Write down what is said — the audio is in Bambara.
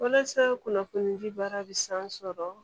Walasa kunnafoni ji baara bi san sɔrɔ